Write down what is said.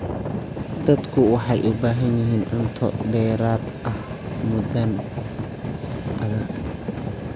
Dadku waxay u baahan yihiin cunto dheeraad ah muddadan adag.